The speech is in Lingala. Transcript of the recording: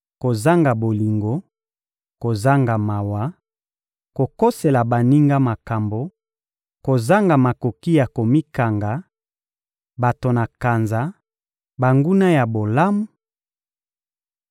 kozanga bolingo, kozanga mawa, kokosela baninga makambo, kozanga makoki ya komikanga, bato na kanza, banguna ya bolamu,